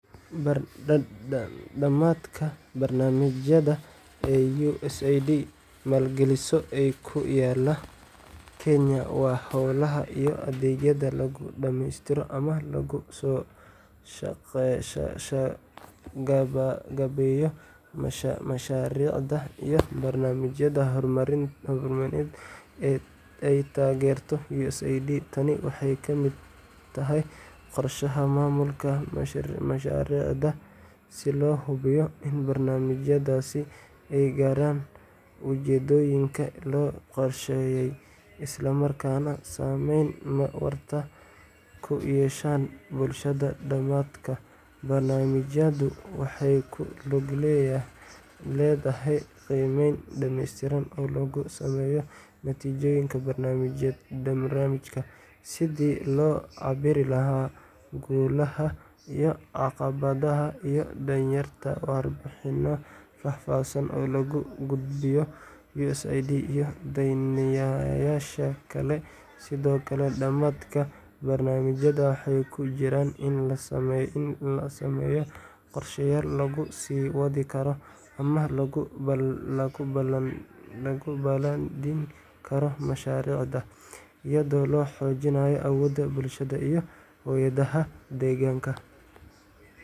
Dhammadka barnaamijyada ay USAID maalgeliso ee ku yaalla Kenya waa hawlaha iyo adeegyada lagu dhammaystiro ama lagu soo gabagabeeyo mashaariicda iyo barnaamijyada horumarineed ee ay taageerto USAID. Tani waxay ka mid tahay qorshaha maamulka mashaariicda si loo hubiyo in barnaamijyadaasi ay gaaraan ujeedooyinkii loo qorsheeyay, isla markaana saamayn waarta ku yeeshaan bulshada. Dhammadka barnaamijyadu waxay ku lug leedahay qiimeyn dhamaystiran oo lagu sameeyo natiijooyinka barnaamijka, sidii loo cabbiri lahaa guulaha iyo caqabadaha, iyo diyaarinta warbixinno faahfaahsan oo loogu gudbiyo USAID iyo daneeyayaasha kale. Sidoo kale, dhammadka barnaamijyada waxaa ku jira in la sameeyo qorshayaal lagu sii wadi karo ama lagu balaadhin karo mashaariicda, iyadoo la xoojinayo awoodda bulshada iyo hay’adaha deegaanka.